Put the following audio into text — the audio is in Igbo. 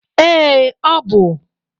Ee, ọ bụ.